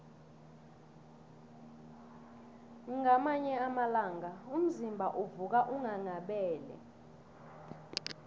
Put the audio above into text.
kwamanye amalanga umzimba uvuka unghanghabele